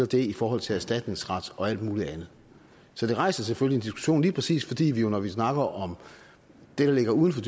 det i forhold til erstatningsret og alt muligt andet så det rejser selvfølgelig en diskussion lige præcis fordi vi jo når vi snakker om det der ligger uden for